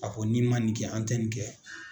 Ka fɔ ko n'i man nin kɛ an tɛ nin kɛ.